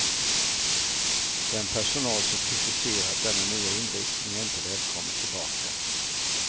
Den personal som kritiserat denna nya inriktning är inte välkommen tillbaka.